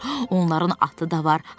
onların atı da var,